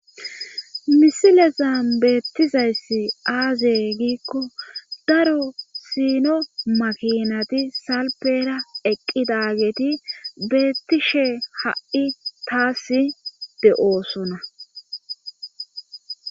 misile zaambeettizayssi aazee giikko daro sino makinati salpera eqqidageeti beettishe ha7i taas de7oosuna